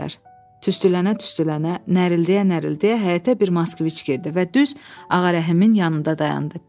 Tüstülənə-tüstülənə, nərildəyə-nərildəyə həyətə bir Moskvic girdi və düz Ağa Rəhimin yanında dayandı.